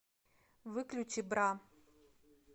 выключи бра